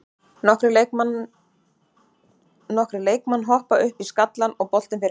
Nokkrir leikmann hoppa upp í skallann og boltinn fer inn.